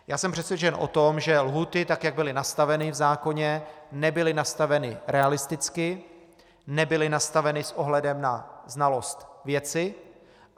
Já jsem přesvědčen o tom, že lhůty, tak jak byly nastaveny v zákoně, nebyly nastaveny realisticky, nebyly nastaveny s ohledem na znalost věci.